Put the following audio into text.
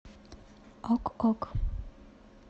ок ок